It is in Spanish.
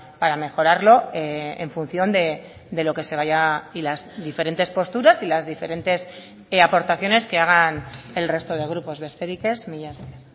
para mejorarlo en función de lo que se vaya y las diferentes posturas y las diferentes aportaciones que hagan el resto de grupos besterik ez mila esker